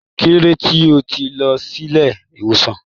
Kilode tí o tí lọ sílé ìwòsàn?